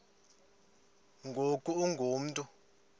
ngoku ungu mntu